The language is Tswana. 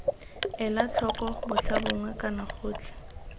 ela tlhoko botlhabongwe kana gotlhe